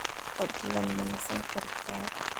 Fadlan ma nasan kartaa?